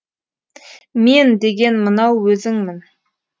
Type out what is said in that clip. мен деген мынау өзіңмін